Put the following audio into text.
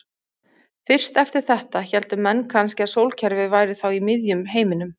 Fyrst eftir þetta héldu menn kannski að sólkerfið væri þá í miðjum heiminum.